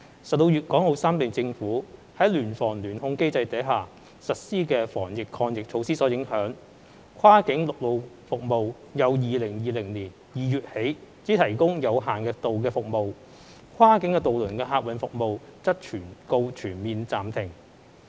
受粵港澳三地政府在聯防聯控機制下實施的防疫抗疫措施所影響，跨境陸路服務由2020年2月起只提供有限度服務，跨境渡輪客運服務則告全面暫停。